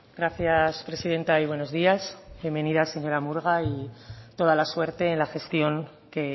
gracias presidenta y buenos días bienvenida señora murga y toda la suerte en la gestión que